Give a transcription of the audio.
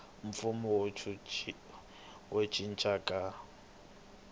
mpfuno wa ku cinca ka